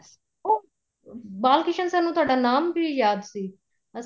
ਬਾਲ Krishan sir ਨੂੰ ਤੁਹਾਡਾ ਨਾਮ ਵੀ ਯਾਦ ਸੀ ਅਸੀਂ